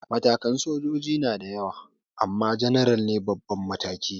Matakan sojoji na da yawa ama janaral ne babban mataki